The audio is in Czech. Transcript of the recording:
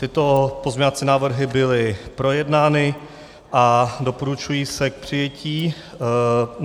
Tyto pozměňovací návrhy byly projednány a doporučují se k přijetí.